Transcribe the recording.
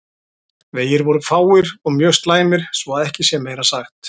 Vegir voru fáir og mjög slæmir svo að ekki sé meira sagt.